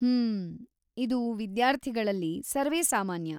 ಹ್ಮ್.., ಇದು ವಿದ್ಯಾರ್ಥಿಗಳಲ್ಲಿ ಸರ್ವೇಸಾಮಾನ್ಯ.